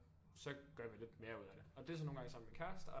Så gør vi lidt mere ud af det og det er så nogen gange sammen med min kæreste